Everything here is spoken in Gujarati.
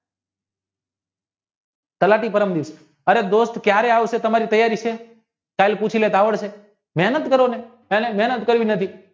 કલાપી અરે દોસ્ત કયારે આવશે તમારી તૈયારી સુ મહેનત કરી ને મહેનત કરવી નથી